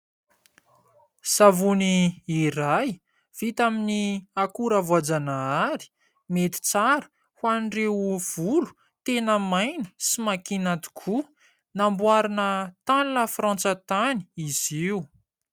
Savony iray vita amin'ny akora voajanahary. Mety tsara ho an'ireo volo tena maina sy makiana tokoa. Namboarina tany Lafrantsa tany izy io.